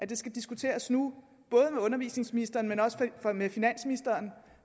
det skal diskuteres nu både med undervisningsministeren og med finansministeren